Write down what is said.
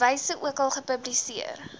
wyse ookal gepubliseer